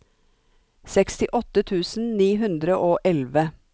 sekstiåtte tusen ni hundre og elleve